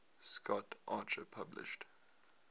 scott archer published